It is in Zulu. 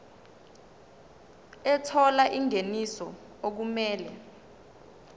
ethola ingeniso okumele